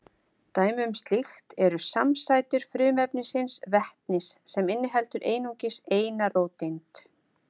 Dæmi um slíkt eru samsætur frumefnisins vetnis sem inniheldur einungis eina róteind.